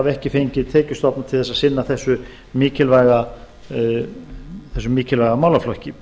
ekki fengið tekjustofna til að sinna þessum mikilvæga málaflokki